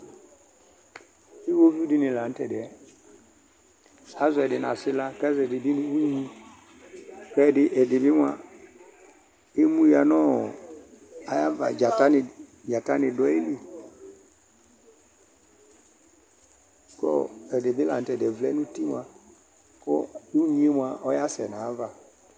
Iwɔviʋ dini la nʋ tɛdiɛ Azɔ ɛdi nʋ asla kʋ azɔ ɛdi bi nʋ unyi kʋ ɛdi bi moa emuya nʋ ayava, dzata ni dʋ ayili kʋ ɛdi bi la nʋ tɛ vlɛ nʋ uti moa kʋ unyi yɛ moa ɔyasɛ n'ayava